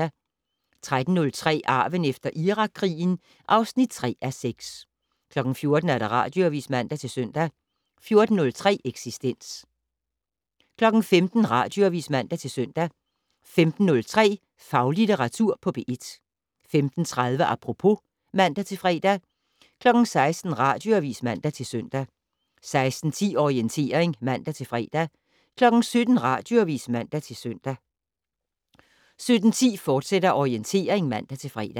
13:03: Arven efter Irakkrigen (3:6) 14:00: Radioavis (man-søn) 14:03: Eksistens 15:00: Radioavis (man-søn) 15:03: Faglitteratur på P1 15:30: Apropos (man-fre) 16:00: Radioavis (man-søn) 16:10: Orientering (man-fre) 17:00: Radioavis (man-søn) 17:10: Orientering, fortsat (man-fre)